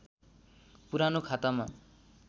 पुरानो खातामा